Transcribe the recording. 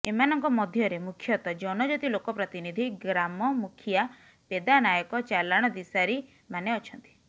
ଏମାନଙ୍କ ମଧ୍ୟରେ ମୁଖ୍ୟତ ଜନଜାତି ଲୋକପ୍ରତିନିଧି ଗ୍ରାମ ମୁଖିଆ ପେଦା ନାୟକ ଚାଲାଣ ଦିଶାରି ମାନେ ଅଛନ୍ତି